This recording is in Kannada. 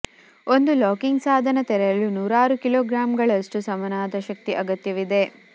ಒಂದು ಲಾಕಿಂಗ್ ಸಾಧನ ತೆರೆಯಲು ನೂರಾರು ಕಿಲೋಗ್ರಾಂಗಳಷ್ಟು ಸಮನಾದ ಶಕ್ತಿ ಅಗತ್ಯವಿದೆ